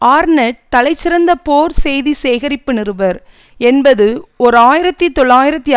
ஆர்நெட் தலைசிறந்த போர் செய்தி சேகரிப்பு நிருபர் என்பது ஓர் ஆயிரத்தி தொள்ளாயிரத்து